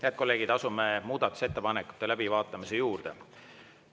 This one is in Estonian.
Head kolleegid, asume muudatusettepanekute läbivaatamise juurde.